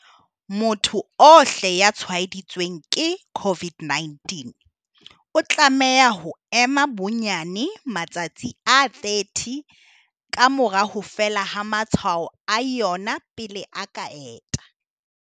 Motho ohle ya tshwaeditsweng ke COVID-19 o tlameha ho ema bonyane matsatsi a 30 ka mora ho fela ha matshwao a yona pele a ka enta.